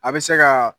A bɛ se ka